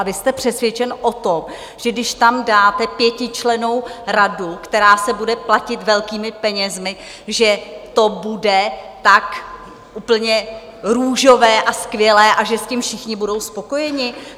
A vy jste přesvědčen o tom, že když tam dáte pětičlennou radu, která se bude platit velkými penězi, že to bude tak úplně růžové a skvělé a že s tím všichni budou spokojeni?